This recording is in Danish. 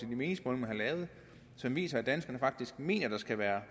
meningsmålingerne viser at danskerne faktisk mener at der skal være